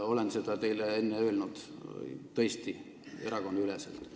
Olen seda teile enne öelnud, tõesti, erakonnaüleselt.